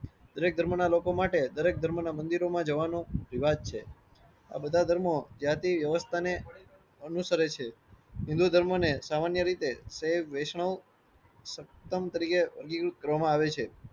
દરેક ધર્મોના લોકો માટે દરેક ધર્મોના મંદિરો માં જવાનો રિવાઝ છે. આ બધા ધર્મો જાતિ વ્યવસ્થાને અનુસરે છે. હિન્દૂ ધર્મ ને સામાન્ય રીતે વૈષ્ણવસત્તમ તરીને વર્ગીકૃત કરવામાં આવે છે.